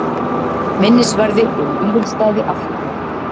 Minnisvarði um Vífilsstaði afhjúpaður